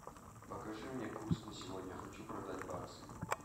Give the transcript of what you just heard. покажи мне курс на сегодня хочу продать баксы